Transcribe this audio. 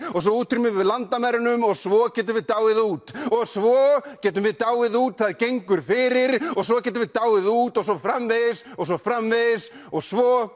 og svo útrýmum við landamærunum og svo getum við dáið út og svo getum við dáið út það gengur fyrir og svo getum við dáið út og svo framvegis og svo framvegis og svo